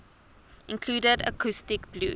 included acoustic blues